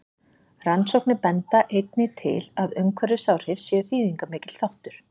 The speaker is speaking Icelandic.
Rannsóknir benda einnig til að umhverfisáhrif séu þýðingarmikill þáttur.